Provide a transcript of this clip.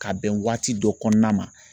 Ka bɛn waati dɔ kɔnɔna ma